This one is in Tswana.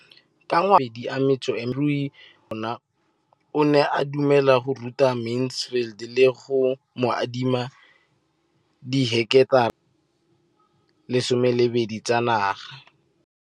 Ka ngwaga wa 2013, molemirui mo kgaolong ya bona o ne a dumela go ruta Mansfield le go mo adima di heketara di le 12 tsa naga.